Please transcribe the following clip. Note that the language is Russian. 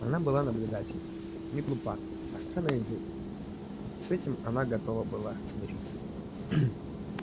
она была наблюдательна не глупа остра на язык с этим она готов был смириться